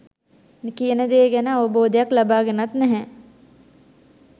කියන දේ ගැන අවබෝධයක් ලබාගෙනත් නැහැ.